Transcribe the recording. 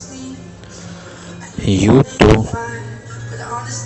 юту